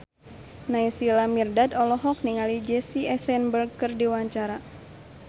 Naysila Mirdad olohok ningali Jesse Eisenberg keur diwawancara